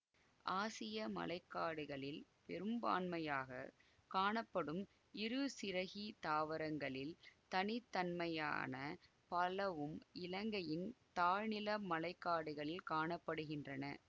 ஆசிய மழை காடுகளில் பெரும்பான்மையாக காணப்படும் இருசிறகி தாவரங்களில் தனி தன்மையான பலவும் இலங்கையின் தாழ்நில மழை காடுகளில் காண படுகின்றன